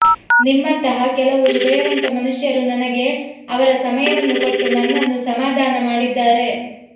ನಿಮ್ಮಂತಹ ಕೆಲವು ಹೃದಯವಂತ ಮನುಷ್ಯರು ನನಗೆ ಅವರ ಸಮಯವನ್ನು ಕೊಟ್ಟು ನನ್ನನ್ನು ಸಮಾಧಾನ ಮಾಡಿದ್ದಾರೆ